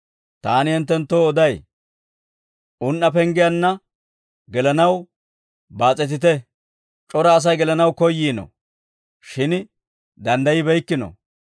«Taani hinttenttoo oday; un"a penggiyaanna gelanaw baas'etite. C'ora Asay gelanaw koyyiino; shin danddaybbeykkino.